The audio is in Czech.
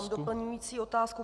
Mám doplňující otázku.